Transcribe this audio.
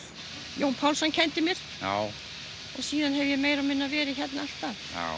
Jón Pálsson kenndi mér og síðan hef ég meira og minna verið hérna alltaf